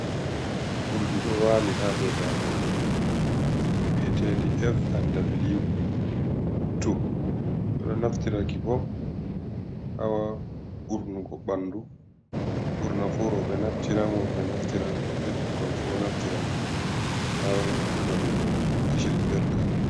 Urdi ɗo wali ha do dago bietendi F&W, bedo naftiraki bo hawa urnugo ɓandu burnafu robe naftiran worbe naftiran be bikkon fu naftiran hanan bo keshrin belka.